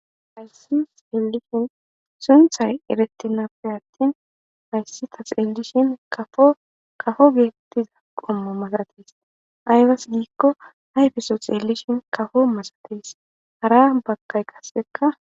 Hayssan xellishin sunththay eretenappe attin hayissi ta xellishin kapo kapo bettiya qommo males aybasse gikko ayiffeso xellishin kapo malates hara baggay qasekka.